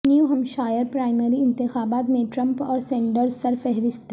new Hampshire primary انتخابات میں Trump اور سینڈرز سرفہرست